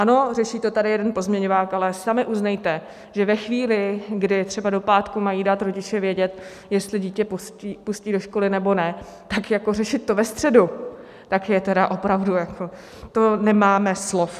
Ano, řeší to tady jeden pozměňovák, ale sami uznejte, že ve chvíli, kdy třeba do pátku mají dát rodiče vědět, jestli dítě pustí do školy, nebo ne, tak jako řešit to ve středu, tak to je opravdu... to nemáme slov.